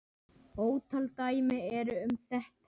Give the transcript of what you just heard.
Ótal dæmi eru um þetta.